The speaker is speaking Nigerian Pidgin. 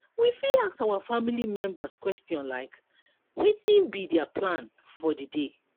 we fit ask our family members question like wetin be their plan for di day